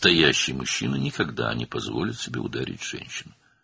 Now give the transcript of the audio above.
Əsl kişi heç vaxt özünə qadını vurmağa icazə verməz.